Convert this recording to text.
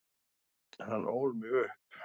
Hann ól mig upp.